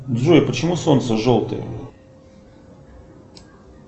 джой почему солнце желтое